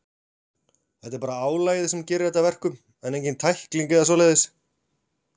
Það er bara álagið sem gerir þetta að verkum, en engin tækling eða svoleiðis.